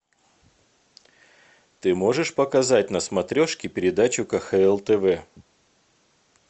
ты можешь показать на смотрешке передачу кхл тв